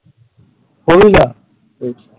four wheeler